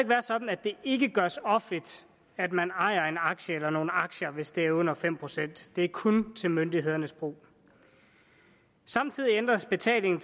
være sådan at det ikke gøres offentligt at man ejer en aktie eller nogle aktier hvis det er under fem procent det er kun til myndighedernes brug samtidig ændres betaling